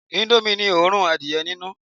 Indomie ni òórùn adìẹ ninu